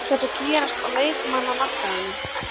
Ekkert að gerast á leikmannamarkaðinum?